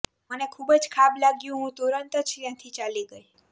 મને ખુબજ ખાબ લાગ્યું હું તુરંત જ ત્યાંથી ચાલી ગઇ